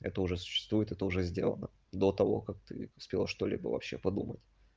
это уже существует это уже сделано до того как ты успела что-либо вообще подумать